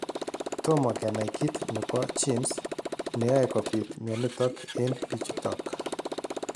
Tomo kenai kiit nebo genes neyoe kobit mionitok eng' bichutok